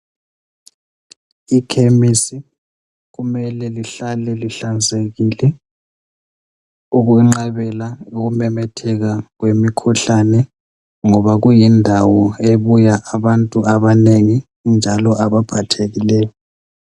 Ikhemisi kumele lihlale lihlanzekile ukwenqabela ukumemetheka kwemikhuhlane, ngoba kuyindawo ebuya abantu abanengi njalo abaphathekileyo.